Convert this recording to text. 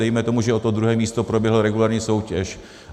Dejme tomu, že o to druhé místo proběhla regulérní soutěž.